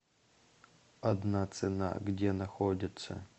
одна цена где находится